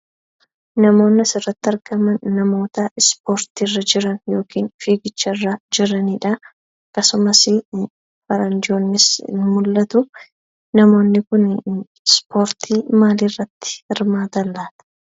Namootni as irratti argaman, namoota ispoortii irra jiran yookiis fiigicha irra jiranidhaa, akkasumas faranjoonnis ni mul'atuu. Namoonni Kun ispoortii maalii irratti hirmaatan laata?